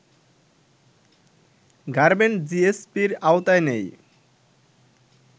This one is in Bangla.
গার্মেন্ট জিএসপির আওতায় নেই